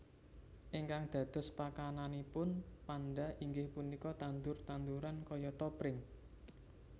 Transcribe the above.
Ingkang dados pakananipun panda inggih punika tandur tanduran kayata pring